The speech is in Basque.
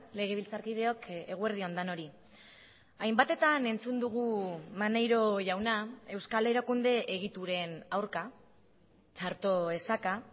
legebiltzarkideok eguerdi on denoi hainbatetan entzun dugu maneiro jauna euskal erakunde egituren aurka txarto esaka